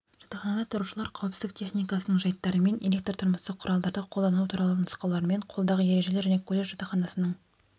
жатақханада тұрушылар қауіпсіздік техникасының жайттарымен электр-тұрмыстық құралдарды қолдану туралы нұсқаулармен қолдағы ережелер және колледж жатақханасының